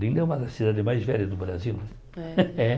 Olinda é uma das cidades mais velhas do Brasil. É É